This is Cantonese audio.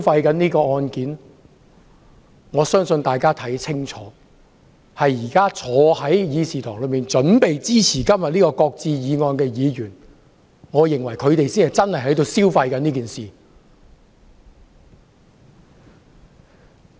大家看得很清楚，現在坐在會議廳內準備支持今天這項"擱置議案"的議員才是在消費這件事。